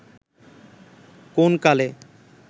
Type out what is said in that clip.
কোন কালে